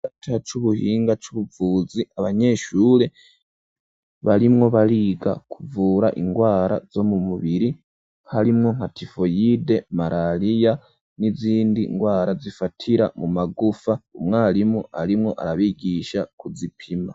Igisata c'ubuhinga c'ubuvuzi abanyeshure barimwo bariga kuvura indwara zo mu mubiri karimwo nkatifoyide, malaliya n'izindi ndwara zifatira mu magufa umwarimu arimwo arabigisha kuzipima.